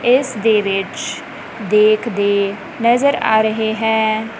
ਇਸ ਦੇ ਵਿਚ ਦੇਖਦੇ ਨਜ਼ਰ ਆ ਰਹੇ ਹੈ।